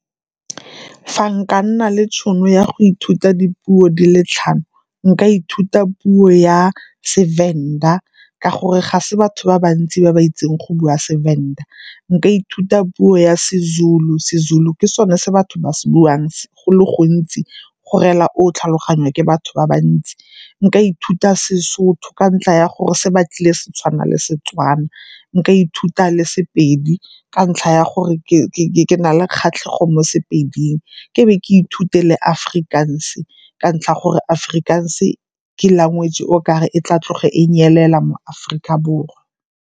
Fa nka nna le tšhono ya go ithuta dipuo di le tlhano, nka ithuta puo ya seVenda ka gore ga se batho ba bantsi ba ba itseng go bua seVenda. Nka ithuta puo ya seZulu, seZulu ke sone se batho ba sebuang go le gontsi go rela gore o tlhaloganya ke batho ba bantsi. Nka ithuta seSotho ka ntlha ya gore se batlile se tshwana le Setswana. Nka ithuta le sePedi ka ntlha ya gore ke ke na le kgatlhego mo sePeding. Ke be ke ithute le Afrikaans-e ka ntlha ya gore Afrikaans-e ke language e okare e tla tloga ko nyelela mo Aforika Borwa.